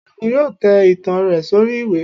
segun yóò tẹ itán rẹ sori ìwé